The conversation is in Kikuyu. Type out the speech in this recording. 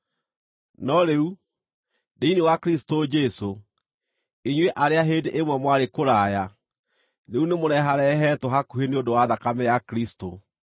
No rĩu, thĩinĩ wa Kristũ Jesũ, inyuĩ arĩa hĩndĩ ĩmwe mwarĩ kũraya, rĩu nĩmũreharehetwo hakuhĩ nĩ ũndũ wa thakame ya Kristũ.